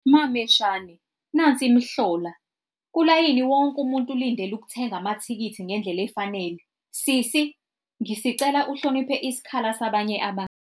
Mameshane, nansi imihlola! Kulayini wonke umuntu ulindele ukuthenga amathikithi ngendlela efanele. Sisi, ngisicela uhloniphe isikhala sabanye abantu.